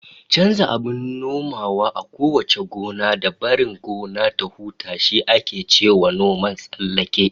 Chanza abin nomawa a kowace gona, da barin gona ta huta, shi ake cewa noman tsallake